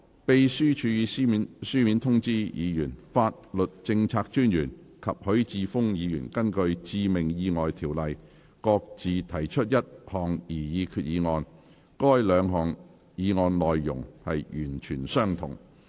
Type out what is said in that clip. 秘書處已書面通知議員，法律政策專員及許智峯議員根據《致命意外條例》各自提出一項擬議決議案，該兩項議案的內容完全相同。